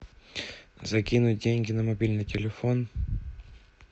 закинуть деньги на мобильный телефон